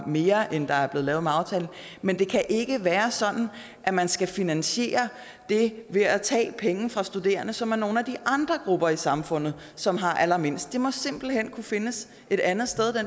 mere end der er blevet med aftalen men det kan ikke være sådan at man skal finansiere det ved at tage penge fra studerende som er nogle af de andre grupper i samfundet som har allermindst den finansiering må simpelt hen kunne findes et andet sted